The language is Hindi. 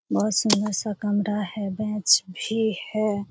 बहोत सुंदर सा कमरा है बेंच भी है।